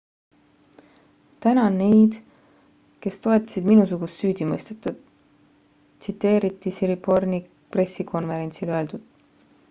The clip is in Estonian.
tänan neid kes toetasid minusugust süüdimõistetut tsiteeriti siriporn'i pressikonverentsil öeldut